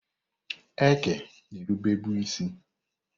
Eke na-erube bụ isi.